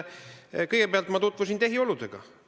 Kõigepealt tutvusin ma tehioludega.